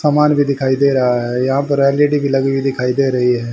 समान भी दिखाई दे रहा है यहां पर एल_ई_डी भी लगी हुई दिखाई दे रही है।